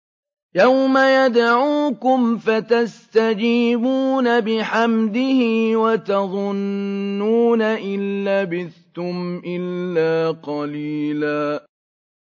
يَوْمَ يَدْعُوكُمْ فَتَسْتَجِيبُونَ بِحَمْدِهِ وَتَظُنُّونَ إِن لَّبِثْتُمْ إِلَّا قَلِيلًا